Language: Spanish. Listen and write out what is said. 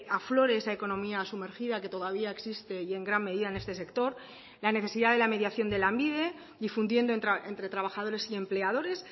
aflore esa economía sumergida que todavía existe y en gran medida en este sector la necesidad de la mediación de lanbide difundiendo entre trabajadores y empleadores